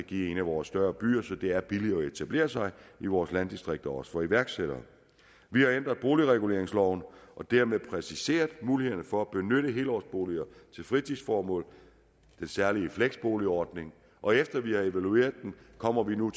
i en af vores større byer så det er billigere at etablere sig i vores landdistrikter også for iværksættere vi har ændret boligreguleringsloven og dermed præciseret mulighederne for at benytte helårsboliger til fritidsformål den særlige fleksboligordning og efter vi har evalueret den kommer vi nu